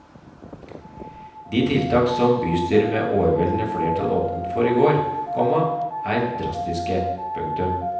De tiltak som bystyret med overveldende flertall åpnet for i går, komma er drastiske. punktum